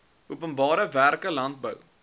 openbare werke landbou